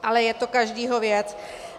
Ale je to každého věc.